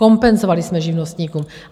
Kompenzovali jsme živnostníkům.